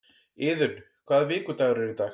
Iðunn, hvaða vikudagur er í dag?